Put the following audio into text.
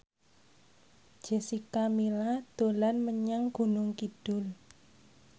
Jessica Milla dolan menyang Gunung Kidul